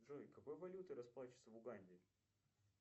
джой какой валютой расплачиваются в уганде